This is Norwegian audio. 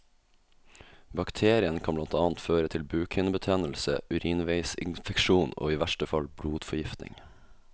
Bakterien kan blant annet føre til bukhinnebetennelse, urinveisinfeksjon og i verste fall blodforgiftning.